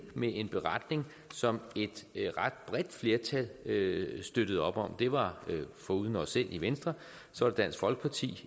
med en beretning som et ret bredt flertal støttede støttede op om det var foruden os selv i venstre dansk folkeparti